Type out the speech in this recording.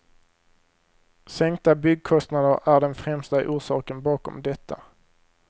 Sänkta byggkostnader är den främsta orsaken bakom detta.